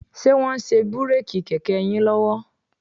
Ṣe wọ́n ń ṣe bíréèkì kẹ̀kẹ́ yín lọ́wọ́?